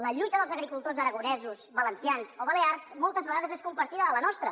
la lluita dels agricultors aragonesos valencians o balears moltes vegades és compartida amb la nostra